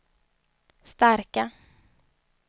starka